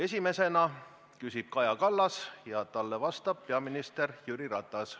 Esimesena küsib Kaja Kallas ja talle vastab peaminister Jüri Ratas.